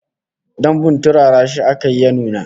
Dambun turara shi aka yi ya nuna